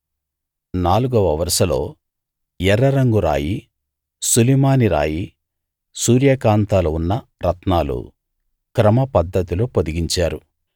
నాలుగవ వరుసలో ఎర్ర రంగు రాయి సులిమాని రాయి సూర్యకాంతాలు ఉన్న రత్నాలు క్రమ పద్ధతిలో పొదిగించారు